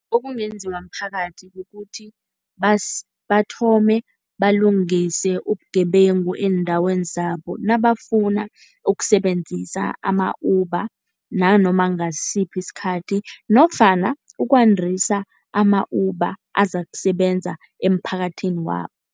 Okungenziwa mphakathi kukuthi bathome balungise ubugebengu eendaweni zabo nabafuna ukusebenzisa ama-Uber, nanoma ngasiphi isikhathi nofana ukwandisa ama-Uber azakusebenza eemphakathini wabo.